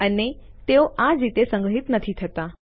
અને તેઓ આ જ રીતે સંગ્રહિત નથી થતા